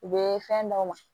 U bɛ fɛn d'aw ma